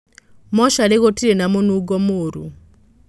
Mocarĩgũtirĩna mũnungo mũru.